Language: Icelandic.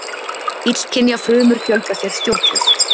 Illkynja frumur fjölga sér stjórnlaust.